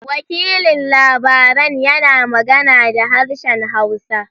Wakilin labaran yana magana da harshen hausa.